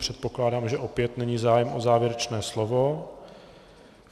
Předpokládám, že opět není zájem o závěrečné slovo.